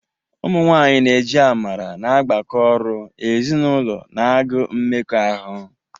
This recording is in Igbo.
Ụmụ nwanyị na-eji amara na-agbakọ ọrụ, ezinụlọ na agụụ mmekọahụ.